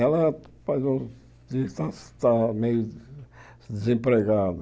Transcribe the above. Ela está está meio desempregada.